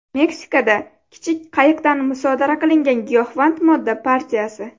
Meksikada kichik qayiqdan musodara qilingan giyohvand modda partiyasi.